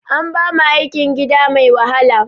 An bamu aikin gida mai wahala